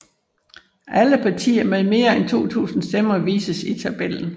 Alle partier med mere end 2000 stemmer vises i tabellen